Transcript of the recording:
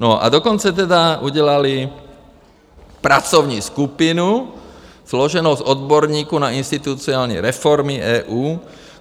No a dokonce tedy udělali pracovní skupinu složenou z odborníků na institucionální reformy EU.